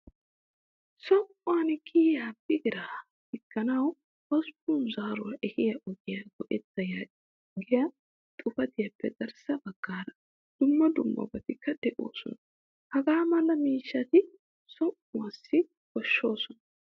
Som'uwaan kiyiya bigira diganawu hossppun zaaruwaa ehiya ogiyaa go'etta yaagiyaa xuufiyappe garssa baggaara dumma dummabatikka deosona. Hagaa mala miishshati som'uwaasi koshshoosona.